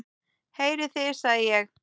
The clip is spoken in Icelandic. Heyrið þið, sagði ég.